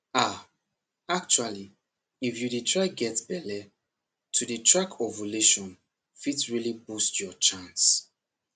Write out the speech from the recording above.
ah actually if you dey try get belle to dey track ovulation fit really boost your chance